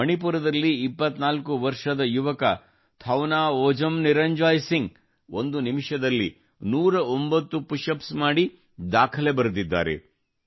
ಮಣಿಪುರದಲ್ಲಿ 24 ವರ್ಷದ ಯುವಕ ಥೌನಾವೋಜಮ್ ನಿರಂಜಾಯ್ ಸಿಂಗ್ ಒಂದು ನಿಮಿಷದಲ್ಲಿ 109 ಪುಶ್ ಅಪ್ಸ್ ಮಾಡಿ ದಾಖಲೆ ಬರೆದಿದ್ದಾರೆ